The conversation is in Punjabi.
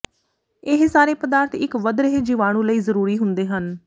ਇਹ ਸਾਰੇ ਪਦਾਰਥ ਇੱਕ ਵਧ ਰਹੇ ਜੀਵਾਣੂ ਲਈ ਜ਼ਰੂਰੀ ਹੁੰਦੇ ਹਨ